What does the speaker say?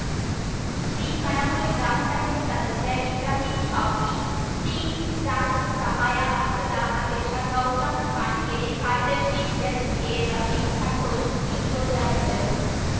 ಬಿಕಣಬೂರು ಗ್ರಾಮ ಪಂಚಾಯತ್ ಸದಸ್ಯ ಇಬ್ರಾಹಿಂ ಶಾಫಿ ಟೀಮ್‌ ಜಾಗೃತ್‌ ಸಹಾಯ ಹಸ್ತದ ಅಧ್ಯಕ್ಷ ಗೌತಮ್‌ ಕಾನ್ಕೆರೆ ಕಾರ್ಯದರ್ಶಿ ಎಸ್‌ಕೆರಫೀಕ್‌ ಸಂತೋಷ್‌ ಡಿಸೋಜಾ ಇದ್ದರು